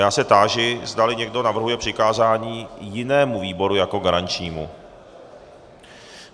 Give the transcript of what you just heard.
Já se táži, zdali někdo navrhuje přikázání jinému výboru jako garančnímu.